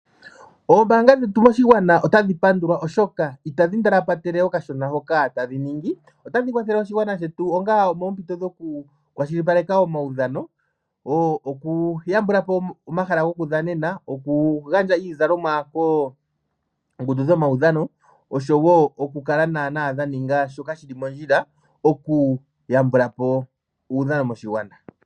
Ombaanga dhetu moshigwana otadhi pandulwa oshoka itadhi ndalapatele okashona hoka tadhi ningi, otadhi kwathele oshigwana shetu onga omoompito dhokukwashilipaleka omaudhano. Okuyambulapo omahala gokudhanena, okugandja iizalomwa koongundu dhomaudhano oshowo okukala dha ninga shoka shi li mondjila okuyambulapo uudhano moshigwana.